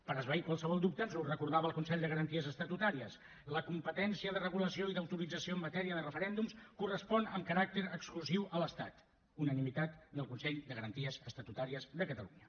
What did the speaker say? per esvair ne qualsevol dubte ens ho recordava el consell de garanties estatutàries la competència de regulació i d’autorització en matèria de referèndums correspon amb caràcter exclusiu a l’estat unanimitat del consell de garanties estatutàries de catalunya